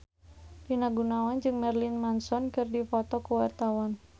Rina Gunawan jeung Marilyn Manson keur dipoto ku wartawan